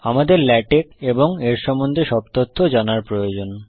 আমাদের লেটেক্স এবং এর সম্বন্ধে সব তথ্য জানার প্রয়োজন